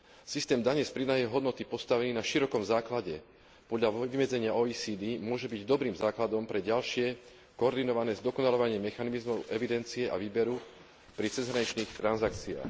Systém dane z pridanej hodnoty postavený na širokom základe, podľa vymedzenia OECD, môže byť dobrým základom pre ďalšie koordinované zdokonaľovanie mechanizmov evidencie a výberu pri cezhraničných transakciách.